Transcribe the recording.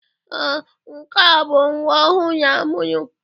Ee, nke a bụ nwa ọhụrụ a mụrụ.